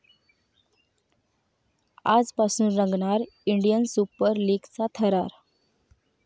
आजपासून रंगणार 'Indian super लीग'चा थरार